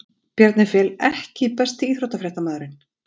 Bjarni Fel EKKI besti íþróttafréttamaðurinn?